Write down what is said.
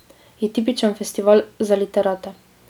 Je tipičen festival za literate.